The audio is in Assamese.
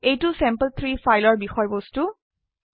এইটো চেম্পল3 ফাইলৰ বিষয়বস্তু